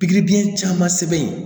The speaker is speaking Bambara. Pikiri biyɛn caman sɛbɛn yen